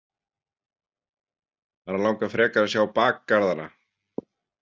Hana langar frekar að sjá bakgarðana.